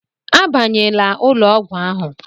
Abanyela ụlọ ọgwụ ahụ!